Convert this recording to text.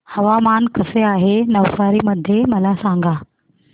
हवामान कसे आहे नवसारी मध्ये मला सांगा